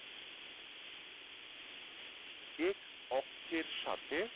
X অক্ষের সাথে